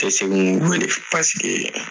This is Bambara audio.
paseke